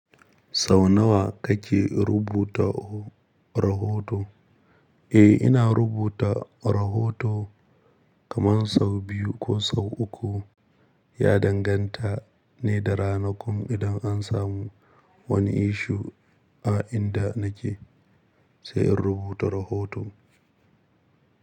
Sau nawa kake rubuta rahoto? Eh, ina rubuta rahoto kaman sau biyu ko sau uku. Ya danganta ne da rana. Kun idan an samu wani issue a inda nake sai in rubuta rahoto.